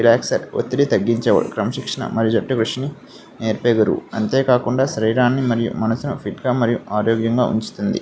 Relax ఒత్తిడిని తగ్గించుదురు క్రమశిక్షణ మరియు జట్టు ఉసిరి నేర్పుతారు అంతేకాకుండా శరీరాన్ని మరియు మనసుని ఫిట్టు గా మరియు ఆరోగ్యంగా ఉంచుతుంది.